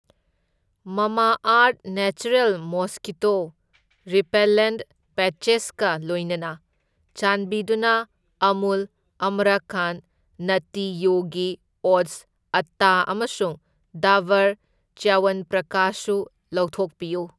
ꯃꯥꯃꯥꯑꯔꯊ natural mosquito repellent ꯄꯦꯠꯆꯦꯁꯀ ꯂꯣꯏꯅꯅ ꯆꯥꯟꯕꯤꯗꯨꯅ ꯑꯃꯨꯜ ꯑꯥꯃ꯭ꯔꯈꯟꯗ, ꯅꯠꯇꯤ ꯌꯣꯒꯤ ꯑꯣꯠꯁ ꯑꯠꯇꯥ ꯑꯃꯁꯨꯡ ꯗꯥꯕꯔ ꯆ꯭ꯌꯋꯟꯄ꯭ꯔꯀꯥꯁ ꯁꯨ ꯂꯧꯊꯣꯛꯄꯤꯌꯨ꯫